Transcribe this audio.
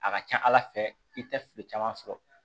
A ka ca ala fɛ i tɛ fili caman sɔrɔ